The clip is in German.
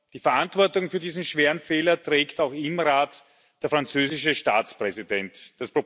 Die Verantwortung für diesen schweren Fehler trägt auch der französische Staatspräsident im Rat.